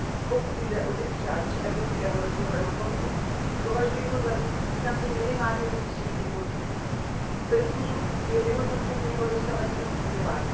Pokud jde o udělení absolutoria Evropskému rozvojovému fondu, považuji je za významné minimálně ze tří důvodů prvním je vyhodnocení jeho dosavadního fungování.